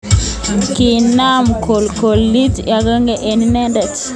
Kinam kokolkolit akonamge ak inendet.